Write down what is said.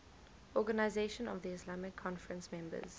organisation of the islamic conference members